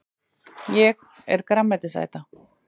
Ég er grænmetisæta!